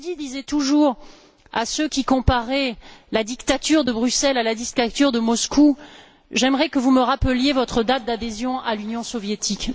Prodi disait toujours à ceux qui comparaient la dictature de Bruxelles à la dictature de Moscou J'aimerais que vous me rappeliez votre date d'adhésion à l'Union soviétique.